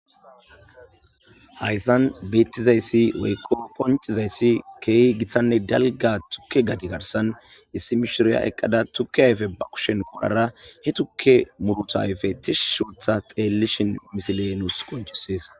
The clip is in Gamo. hayssan beettizayssi weyqo poncizayssi keehi githhanne dalga tukke gadi garsan issi mishiriya eqqada tukke hayfe ba kushen qorara he tukke murutayfe tishi shuutha xeellishin misile nuus qoncisees